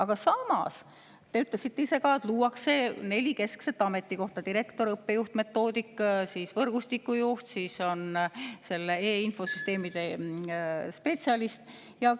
Aga samas te ütlesite ise ka, et luuakse neli keskset ametikohta: direktor, õppejuht-metoodik, võrgustiku juht ja siis e‑infosüsteemide spetsialist.